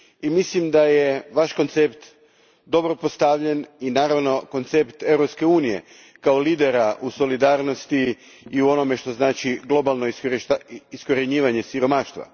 Mislim da je vaš koncept dobro postavljen i naravno koncept Europske unije, kao lidera u solidarnosti i u onome što znači globalno iskorjenjivanje siromaštva.